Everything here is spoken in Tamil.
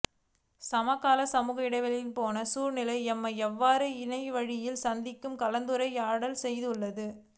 சமகால சமூக இடைவெளி பேணல் சூழ்நிலை எம்மை இவ்வாறு இணையவழியில் சந்தித்து கலந்துரையாடச்செய்துள்ளது